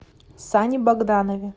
сане богданове